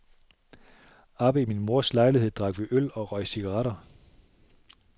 Oppe i min mors lejlighed drak vi øl og røg cigaretter.